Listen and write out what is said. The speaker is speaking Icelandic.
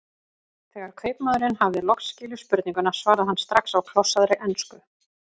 Þegar kaupmaðurinn hafði loks skilið spurninguna svaraði hann strax á klossaðri ensku